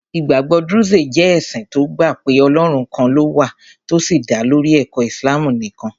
Ìgbàgbọ́ Druze jẹ́ ẹ̀sìn tó gbà pé Ọlọ́run kan ló wà tó sì dá lórí ẹ̀kọ́ Islam nìkan.